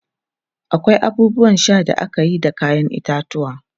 akwai abubuwan Sha da akeyi da kayan itatuwwa